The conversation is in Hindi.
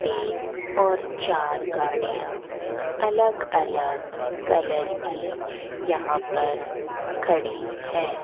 तीन और चार गाड़ियां अलग अलग कलर की यहां पर खड़ी है।